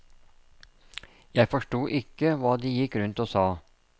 Jeg forsto ikke hva de gikk rundt og sa.